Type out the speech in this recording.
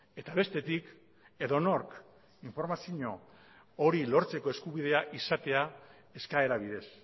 eta bestetik edonork informazio hori lortzeko eskubidea izatea eskaera bidez